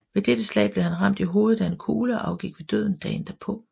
Ved dette slag blev han ramt i hovedet af en kugle og afgik ved døden dagen derpå